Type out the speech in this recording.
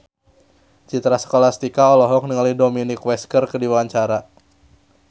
Citra Scholastika olohok ningali Dominic West keur diwawancara